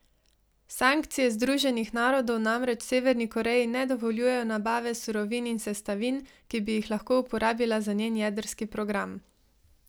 Sankcije Združenih narodov namreč Severni Koreji ne dovoljujejo nabave surovin in sestavin, ki bi jih lahko uporabila za njen jedrski progam.